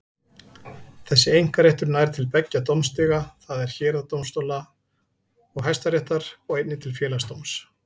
Þessi einkaréttur nær til beggja dómstiga, það er héraðsdómstóla og Hæstaréttar, og einnig til Félagsdóms.